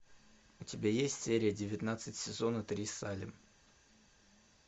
у тебя есть серия девятнадцать сезона три салем